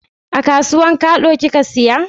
A kasuwan kado ki ka siya?